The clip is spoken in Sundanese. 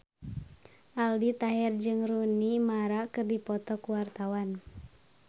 Aldi Taher jeung Rooney Mara keur dipoto ku wartawan